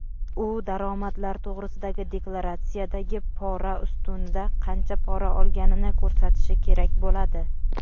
u daromadlar to‘g‘risidagi deklaratsiyadagi "pora" ustunida qancha pora olganini ko‘rsatishi kerak bo‘ladi.